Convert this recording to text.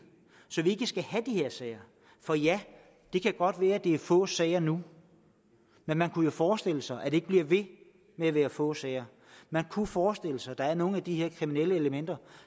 så vi ikke skal have de her sager for ja det kan godt være at det er få sager nu men man kunne jo forestille sig at det ikke bliver ved med at være få sager man kunne forestille sig at der var nogle af de her kriminelle elementer